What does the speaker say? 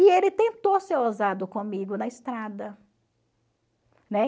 E ele tentou ser ousado comigo na estrada.